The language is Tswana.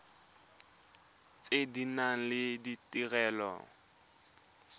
tse di nang le ditirelo